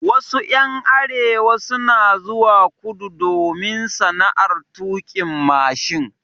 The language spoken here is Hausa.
Wasu ƴan arewa suna zuwa kudu domin sana'ar tuƙin mashin.